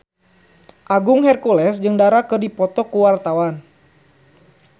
Agung Hercules jeung Dara keur dipoto ku wartawan